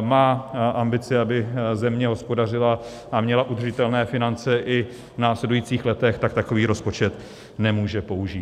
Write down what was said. má ambici, aby země hospodařila a měla udržitelné finance i v následujících letech, tak takový rozpočet nemůže použít.